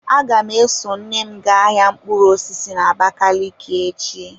Aga m eso nne m gaa ahia mkpụrụ osisi n'abakaliki echi.